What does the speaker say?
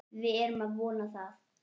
Við erum að vona það.